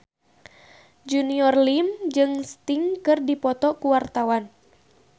Junior Liem jeung Sting keur dipoto ku wartawan